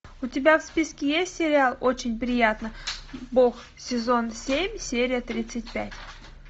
у тебя в списке есть сериал очень приятно бог сезон семь серия тридцать пять